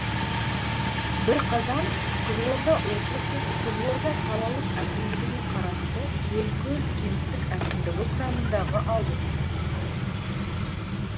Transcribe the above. бірқазан қызылорда облысы қызылорда қалалық әкімдігіне қарасты белкөл кенттік әкімдігі құрамындағы ауыл